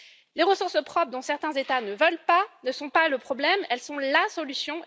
Les ressources propres dont certains États ne veulent pas ne sont pas le problème, elles sont la solution.